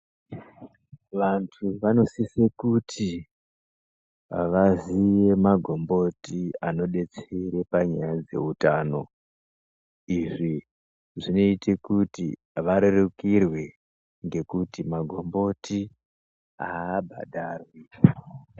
Vantu vano sise kuti vaziye magomboti ano detsere panyaya dze utano izvi zvinoite kuti varerukirwe ngekuti magomboti abhadharwi.